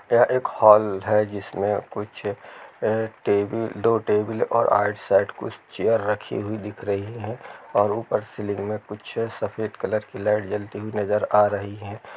ये एक हॉल है जिसमें कुछ दो टेबल और आठ सेट कुर्सी रखी हुई दिखाई दे रही है और ऊपर से सीलिंग कुछ सफेद कलर की लाइट जलती हुई नजर आ रही है।